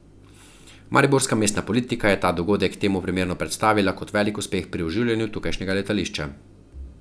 Mariborska mestna politika je ta dogodek temu primerno predstavila kot velik uspeh pri oživljanju tukajšnjega letališča.